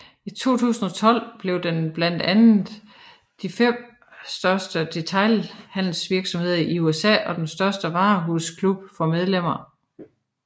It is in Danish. I 2012 var den blandt de fem største detailhandelsvirksomheder i USA og den største varehusklub for medlemmer